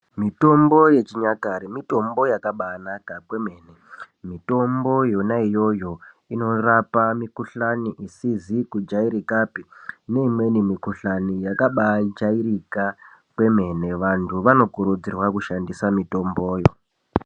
Mitombo yechinyakare mitombo yakabanaka kwemene. Mitombo yona iyoyo inorapa mikuhlani isizi kujairika neimweni mikuhlani yakabajairika kwemene. Vantu vanokurudzirwa kushandisa mitomboyo.